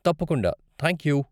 తప్పకుండా, థాంక్యూ.